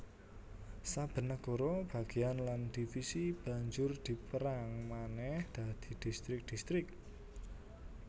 Saben nagara bagéyan lan divisi banjur dipérang manèh dadi distrik distrik